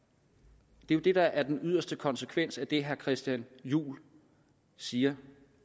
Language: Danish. det er jo det der er den yderste konsekvens af det herre christian juhl siger